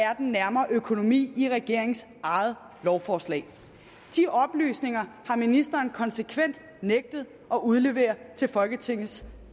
er den nærmere økonomi i regeringens eget lovforslag de oplysninger har ministeren konsekvent nægtet at udlevere til folketingets